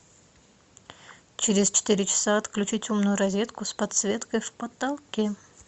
через четыре часа отключить умную розетку с подсветкой в потолке